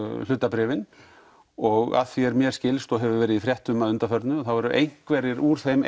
hlutabréfin og að því að mér skilst og hefur verið í fréttum að undanförnu þá eru einhverjir úr þeim